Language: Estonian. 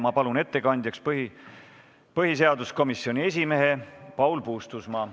Ma palun ettekandjaks põhiseaduskomisjoni esimehe Paul Puustusmaa.